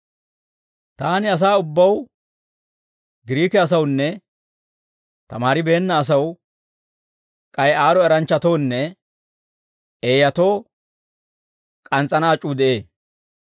Taani asaa ubbaw, Giriike asawunne tamaaribeenna asaw k'ay aad'd'o eranchchatoonne eeyatoo k'ans's'ana ac'uu de'ee.